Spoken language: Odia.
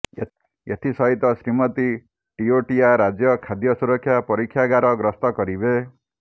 ଏଥି ସହିତ ଶ୍ରୀମତୀ ଟିଓଟିଆ ରାଜ୍ୟ ଖାଦ୍ୟ ସୁରକ୍ଷା ପରୀକ୍ଷାଗାର ଗସ୍ତ କରିବେ